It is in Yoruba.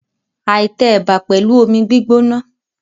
I tẹ ẹ̀bà pẹ̀lú omi gbígbóná.